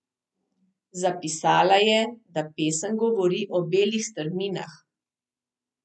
Zapisala je, da pesem govori o belih strminah.